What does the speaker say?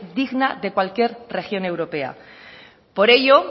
digna de cualquier región europea por ello